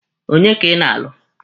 Onye ka ị na-alụ?